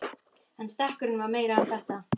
En stekkurinn var meira en þetta.